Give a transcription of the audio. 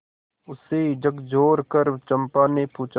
उसे झकझोरकर चंपा ने पूछा